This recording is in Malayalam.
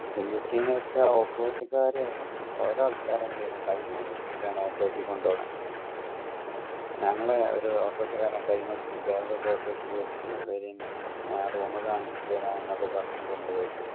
full scene ന്ന് വെച്ച ഓട്ടോ റിക്ഷക്കാർ ഓരോ ആൾക്കാർ വിളിയാ കയ്യും പിടിച്ചിട്ടാണ് ഓട്ടോ റിക്ഷേ കൊണ്ടൊണെ ഞങ്ങടെ ഒരു ഓട്ടോ റിക്ഷാക്കാരൻ കൈമ പിടിച് bag ഒക്കെ ഓട്ടോ റിക്ഷക്ക് വെച് വരിന് ഞാന് room കാണിച് തെര എന്നൊക്കെ പറഞ് കൊണ്ടോയി